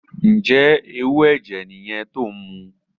Njẹ ẹwu ẹjẹ yẹn ti o nmu?